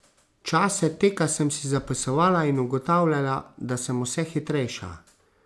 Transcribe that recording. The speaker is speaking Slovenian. Čase teka sem si zapisovala in ugotavljala, da sem vse hitrejša.